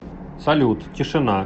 салют тишина